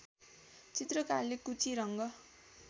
चित्रकारले कुची रङ्ग